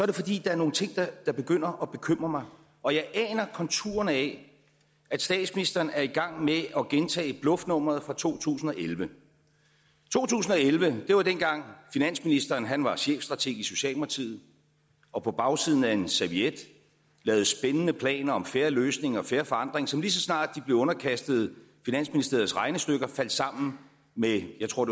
det fordi der er nogle ting der begynder at bekymre mig og jeg aner konturerne af at statsministeren er i gang med at gentage bluffnummeret fra to tusind og elleve to tusind og elleve var dengang finansministeren var chefstrateg i socialdemokratiet og på bagsiden af en serviet lavede spændende planer om fair løsning og fair forandring som lige så snart de blev underkastet finansministeriets regnestykker faldt sammen med jeg tror